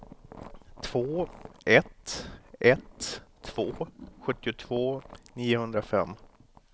två ett ett två sjuttiotvå niohundrafem